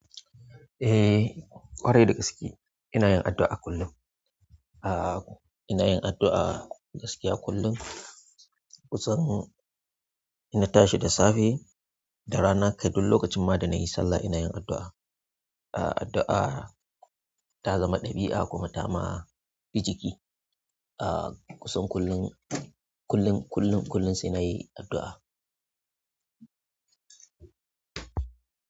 Eh, ƙwarai da gaske ina yin addu'a kullum. Aa ina yin addu'a gaskiya kullum. Kusan ina tashi da safe da rana kai duk lokacin ma da na yi sallah ina yin addu'a. Addu'a ta zama ɗabi'a kuma ta ma bi jiki. Ah kusan kullum, kullum, kullum, kullum sai na yi addu'a.